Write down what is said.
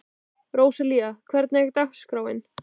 Róselía, hvernig er dagskráin?